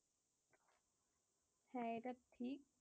হ্যাঁ এইটা ঠিক।